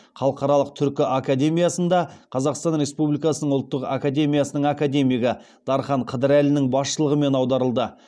халықаралық түркі академиясында қазақстан республикасының ұлттық академиясының академигі дархан қыдырәлінің басшылығымен аударылды